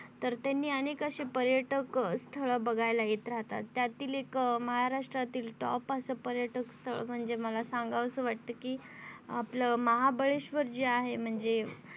तर त्यांनी अनेक अशे पर्यटक स्थळ बघायला येत राहतात त्यातील एक महाराष्ट्रतील top असं एक पर्यटक स्थळ म्हणजे मला सांगावं असं वाटत कि आपल महाबळेशवर जे आहे. म्हणजे